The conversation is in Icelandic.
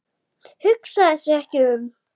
Hugsaði sig ekki um!